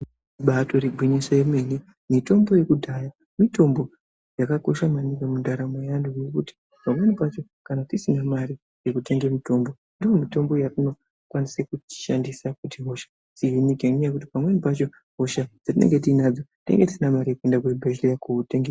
Ibaatori gwinyiso remene mitombo yekudhaya mitombo yakakosha maningi mundaramo yevanhu ngekuti pamweni pacho kana tisina mari yekutenga mitombo ndiyo mitombo yatinokwanise tishandise kuti hosha dzihinike ngenyaya yekuti pamweni pachona hosha tinenge tinadzo tinenge tisina mare yekuende kuchibhedhleya.